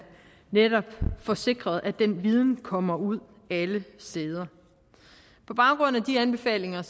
netop får sikret at den viden kommer ud alle steder på baggrund af de anbefalinger